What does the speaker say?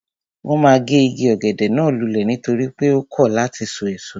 Wọ́n ma gé igi ọ̀gẹ̀dẹ̀ náà lulẹ̀ nítorí pé ó kọ̀ láti sọ èso